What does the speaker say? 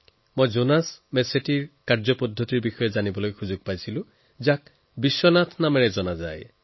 মোৰ জোনাছ মেচেত্তিৰ কামৰ সম্বন্ধে জনাৰ সুযোগ হয় যাক আমি বিশ্বনাথ নামেৰে জানো